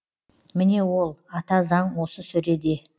міне ол ата заң осы сөреде